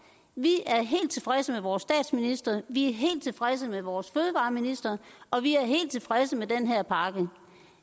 vi er helt tilfredse med vores statsminister vi er helt tilfredse med vores fødevareminister og vi er helt tilfredse med den her pakke